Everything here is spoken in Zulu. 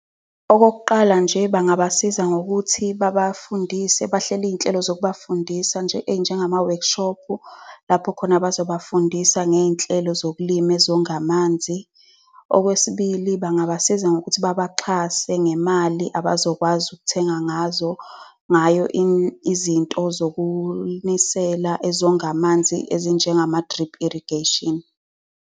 Okokuqala nje, bangabasiza ngokuthi babafundise. Bahlele iy'nhlelo zokubafundisa, ezinjengama-workshop, lapho khona bezobafundisa ngey'nhlelo zokulima ezonga amanzi. Okwesibili, bangabasiza ngokuthi babaxhase ngemali abazokwazi ukuthenga ngayo izinto zokunisela ezonga amanzi ezinjengama-drip irrigation.